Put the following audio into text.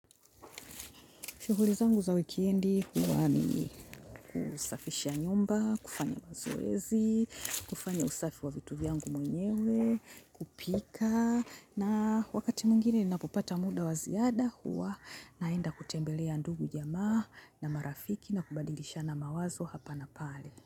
Shughuli zangu za wikendi huwa ni kusafisha nyumba, kufanya mazoezi, kufanya usafi wa vitu vyangu mwenyewe, kupika na wakati mwingine ninapopata muda wa ziada huwa naenda kutembelea ndugu jamaa rafiki na kubadilishana mawazo hapa na pale.